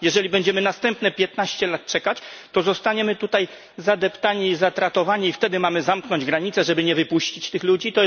Jeżeli będziemy następne piętnaście lat czekać, to zostaniemy tutaj zadeptani i stratowani, i wtedy mamy zamknąć granice, żeby nie wypuścić tych ludzi?